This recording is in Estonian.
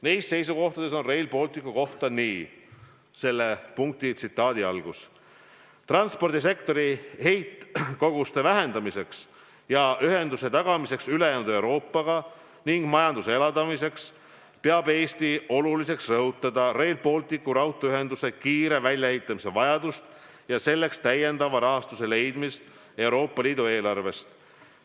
Neis seisukohtades on Rail Balticu kohta öeldud nii: "Transpordisektori heitkoguste vähendamiseks ja ühenduse tagamiseks ülejäänud Euroopaga ning majanduse elavdamiseks peab Eesti oluliseks rõhutada Rail Balticu raudteeühenduse kiire väljaehitamise vajadust ja selleks täiendava rahastuse leidmist Euroopa Liidu eelarvest.